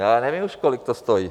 Já nevím už, kolik to stojí.